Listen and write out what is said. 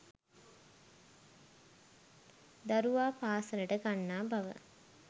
දරුවා පාසලට ගන්නා බව